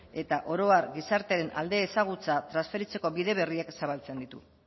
eta oro har gizartearen alde ezagutza transferitzeko bide berriak zabaltzen ditu